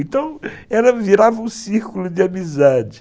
Então, ela virava um círculo de amizade.